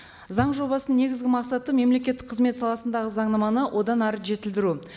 заң жобасының негізгі мақсаты мемлекеттік қызмет саласындағы заңнаманы одан әрі жетілдіру